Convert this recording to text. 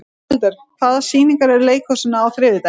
Gunnhildur, hvaða sýningar eru í leikhúsinu á þriðjudaginn?